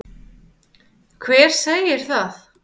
Hver segir það?